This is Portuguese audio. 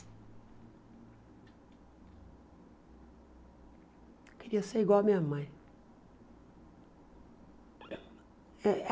Eu queria ser igual a minha mãe. Eh